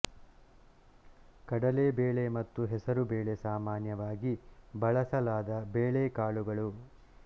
ಕಡಲೆ ಬೇಳೆ ಮತ್ತು ಹೆಸರು ಬೇಳೆ ಸಾಮಾನ್ಯವಾಗಿ ಬಳಸಲಾದ ಬೇಳೆಕಾಳುಗಳು